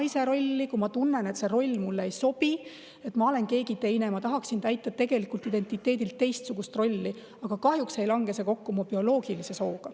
ma tunnen, et see roll mulle ei sobi, et ma olen keegi teine, ja ma tahaksin täita tegelikult identiteedilt teistsugust rolli, aga kahjuks ei lange see kokku mu bioloogilise sooga.